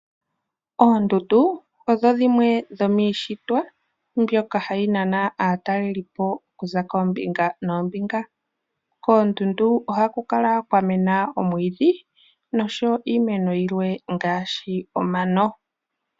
Oondundu odho dhimwe dhomiishitwa mbyoka hayi nana aatalelipo okuza koombinga noombinga. Koondundu ohaku kala kwa mwena oomwiidhi noshowo iimeno yilwe ngaashi omano.